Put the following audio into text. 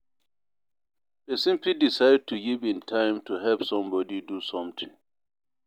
Persin fit decide to give im time to help somebody do something